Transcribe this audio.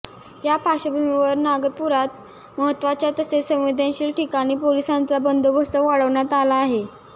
या पार्श्वभूमीवर नागपुरात महत्त्वाच्या तसेच संवदेनशील ठिकाणी पोलिसांचा बंदोबस्त वाढवण्यात आला आहे